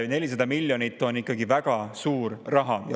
400 miljonit on ikkagi väga suur raha.